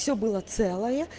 все было целое